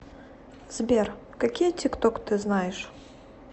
сбер какие тикток ты знаешь